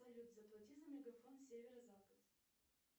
салют заплати за мегафон северо запад